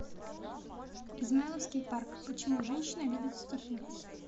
измайловский парк почему женщины любят стихи